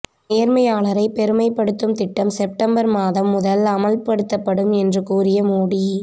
நேர்மையாளரை பெருமைப்படுத்தும் திட்டம் செப்டம்பர் மாதம் முதல் அமல்படுத்தப்படும் என்று கூறிய மோடி